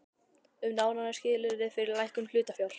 um nánari skilyrði fyrir lækkun hlutafjár.